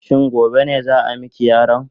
Shin gobe ne za a mika yaron?